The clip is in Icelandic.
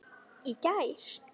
Í gær.